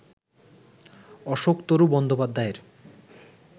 অশোকতরু বন্দ্যোপাধ্যায়ের